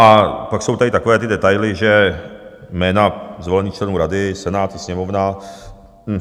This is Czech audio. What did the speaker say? A pak jsou tady takové ty detaily, že jména zvolených členů rady Senát i Sněmovna...